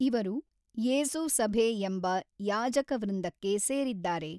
ಇವರು ಯೇಸು ಸಭೇ ಎಂಬ ಯಾಜಕ ವೃಂದಕ್ಕೆ ಸೇರಿದ್ದಾರೆ.